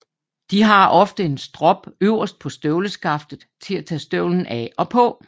De har ofte en strop øverst på støvleskaftet til at tage støvlen af og på